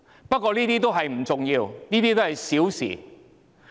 不過，這些不重要，都是小事。